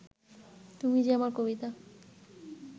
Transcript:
তুমি যে আমার কবিতা